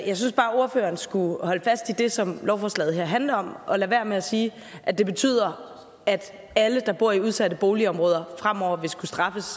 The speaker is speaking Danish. jeg synes bare at ordføreren skulle holde fast i det som lovforslaget her handler om og lade være med at sige at det betyder at alle der bor i udsatte boligområder fremover vil skulle straffes